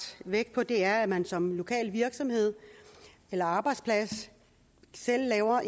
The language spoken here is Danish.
vægt på er at man som lokal virksomhed eller arbejdsplads selv laver